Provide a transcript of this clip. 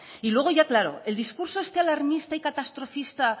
luego ya claro el discurso este alarmista y catastrofista